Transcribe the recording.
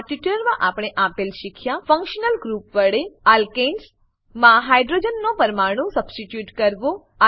આ ટ્યુટોરીયલમાં આપણે આપેલ શીખ્યા ફંક્શનલ ગ્રુપ વડે એલ્કેન્સ માં હાઇડ્રોજન હાઈડ્રોજન નો પરમાણુ સબસ્ટીટ્યુટ કરવો